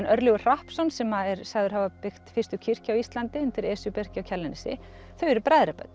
Örlygur Hrappsson sem er sagður hafa byggt fyrstu kirkju á Íslandi undir Esjubergi á Kjalarnesi þau eru